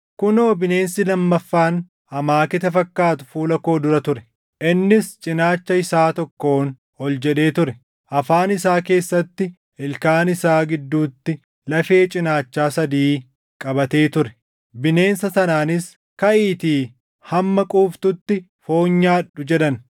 “Kunoo bineensi lammaffaan amaaketa fakkaatu fuula koo dura ture. Innis cinaacha isaa tokkoon ol jedhee ture; afaan isaa keessatti ilkaan isaa gidduutti lafee cinaachaa sadii qabatee ture. Bineensa sanaanis, ‘Kaʼiitii hamma quuftutti foon nyaadhu!’ jedhan.